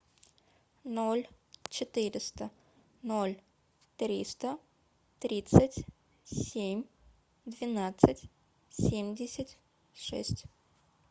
ноль четыреста ноль триста тридцать семь двенадцать семьдесят шесть